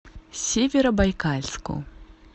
северобайкальску